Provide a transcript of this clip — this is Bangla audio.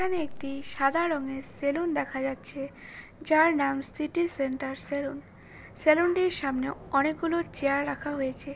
এখানে একটি সাদা রঙের সেলুন দেখা যাচ্ছে যার নাম সিটি সেন্টার সেলুন । সেলুন -টির সামনে অনেকগুলো চেয়ার রাখা হয়েছে।